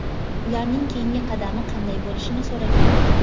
ularning keyingi qadami qanday bo‘lishini so‘ragan.